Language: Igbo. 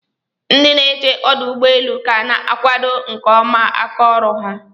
Ndị na eche ọdọugbọeelu' ka ana akwado nke ọma aka ọrụ ha